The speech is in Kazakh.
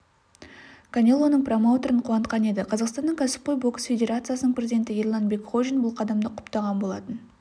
канелоның промоутерін қуантқан еді қазақстанның кәсіпқой бокс федерациясының президенті ерлан бекхожин бұл қадамды құптаған болатын